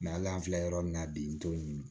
hali an filɛ yɔrɔ min na bi n t'o ɲini